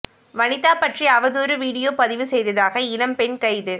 வனிதா பற்றி அவதூறு வீடியோ பதிவு செய்ததாக இளம் பெண் கைது